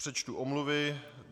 Přečtu omluvy.